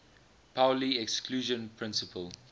pauli exclusion principle